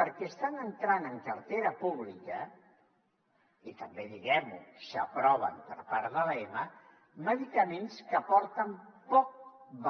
perquè estan entrant en cartera pública i també diguem ho s’aproven per part de l’ema medicaments que aporten poc